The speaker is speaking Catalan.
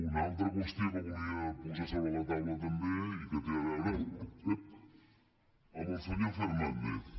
una altra qüestió que volia posar sobre la taula també i que té a veure amb el senyor fernández